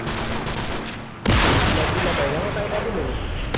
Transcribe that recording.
એટલે ચેટલા મહિના નો time આપે એ લોકો?